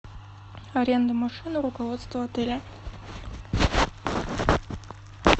аренда машины руководство отеля